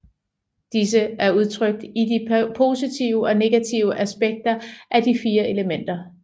Disse er udtrykt i de positive og negative aspekter af de fire elementer